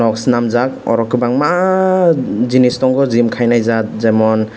o senamjak aro aro kobangmaa jinish nogo gym kainai jat jemon.